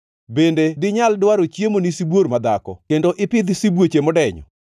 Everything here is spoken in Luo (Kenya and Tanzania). “Bende dinyal dwaro chiemo ni sibuor madhako kendo ipidh sibuoche modenyo,